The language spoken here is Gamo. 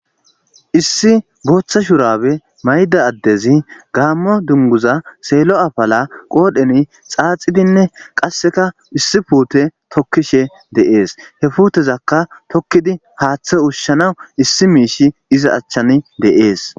issi booththa shurabe mayda addezi gaammo dunguza seelo afala qoodheni xaaxidinne qasseka issi puute tokkishe dee'es he puutezakka tokkidi haaththe ushushana issi miishi iza achchan de'ees